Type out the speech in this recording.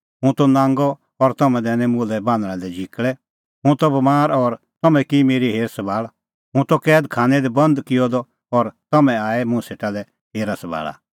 हुंह त नांगअ और तम्हैं दैनै मुल्है बान्हणां लै झिकल़ै हुंह त बमार और तम्हैं की मेरी हेर सभाल़ हुंह त कैद खानै दी बंद किअ द और तम्हैं आऐ मुंह सेटा लै हेरा सभाल़ा